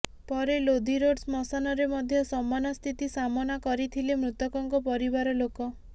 ପରେ ଲୋଧି ରୋଡ୍ ଶ୍ମଶାନରେ ମଧ୍ୟ ସମାନ ସ୍ଥିତି ସାମନା କରିଥିଲେ ମୃତକଙ୍କ ପରିବାର ଲୋକ